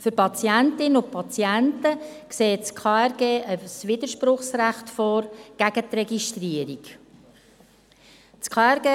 Für Patientinnen und Patienten sieht das KRG ein Widerspruchsrecht gegen die Registrierung vor.